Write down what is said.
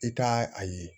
I ka a ye